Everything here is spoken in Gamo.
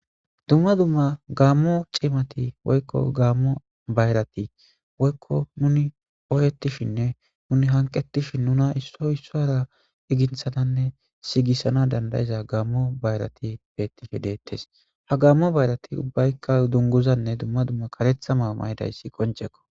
dumma dumma gammo ciimati woykko gaammo bayrati woykko nuni ooyettishinne nuni hanqettishin nuna issoy issara iginthananne sigisana dandayiza gammo bayrati bettihi deettes ha gammo bayrati ubbaykka dunguzanne dumma dumma karetha maa maydayssi qonjekko